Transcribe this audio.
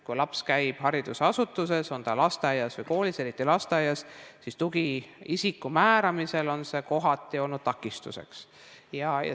Kui laps käib haridusasutuses, lasteaias või koolis, eriti lasteaias, siis tugiisiku määramisel on see kohati olnud takistuseks.